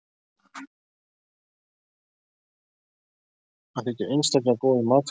Hann þykir einstaklega góður matfiskur.